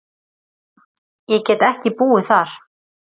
Ég get ekki búið þar.